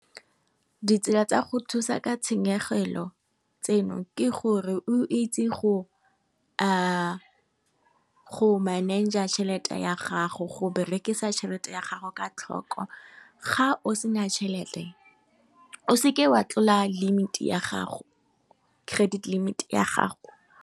Ditsela tsa go thusa ka tshenyegelo tseno ke gore o itse go manager tšhelete ya gago, go berekisa tšhelete ya gago ka tlhoko, ga o sena tšhelete, o seke wa tlola limited ya gago, credit limit ya gago.